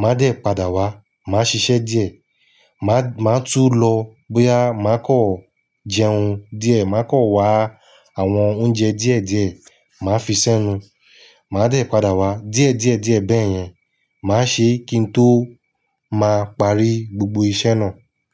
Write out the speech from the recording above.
Màá dẹ̀ padà wá, màá ṣiṣẹ́ díẹ̀. Màá, màá tún lọ bóyá màá kọ̀ jẹun díẹ̀, màá kọ̀ wá àwọn oúnjẹ díẹ̀díẹ̀ màá fi sẹ́nu. Màá dẹ̀ padà wá. Díẹ̀díẹ̀díẹ̀ bẹ́yẹn, màá ṣe kí n tó máa parí gbogbo iṣẹ́ náà.